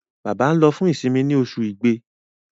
Bába nlo fún isinmi ní Oṣù Ìgbé.